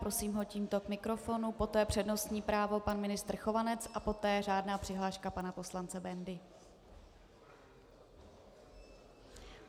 Prosím ho tímto k mikrofonu, poté přednostní právo pan ministr Chovanec a poté řádná přihláška pana poslance Bendy.